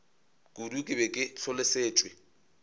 kudu ke be ke hlolosetšwe